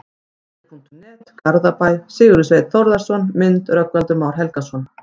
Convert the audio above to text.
Fótbolti.net, Garðabæ- Sigurður Sveinn Þórðarson Mynd: Rögnvaldur Már Helgason